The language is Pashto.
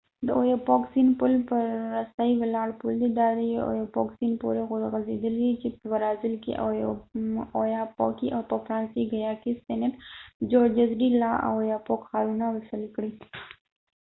د اویاپوک سیند پل پر رسۍ ولاړ پل دی دا د ايوپوک سيند پورې غځيدلی دی چې په برازیل کې اوياپوکي او په فرانسوي ګیانا کې سینټ جورجز ډی لا اوياپوک ښارونه وصل کړي